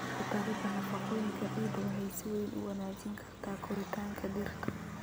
Ku darida nafaqooyinka ciidda waxay si weyn u wanaajin kartaa koritaanka dhirta.